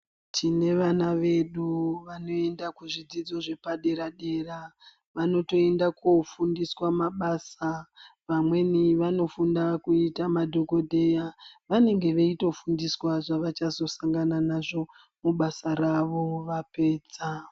Tine vana vedu vanoenda kuzvidzidzo zvepadera dera vanotoenda kofundiswa mabasa vamweni vanofunda kuita madhokodheya vanenge veitofundiswa zvavachazosangana nazvo mubasa ravo vapedza